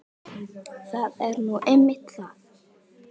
Það er nú einmitt það!